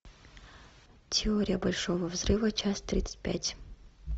теория большого взрыва часть тридцать пять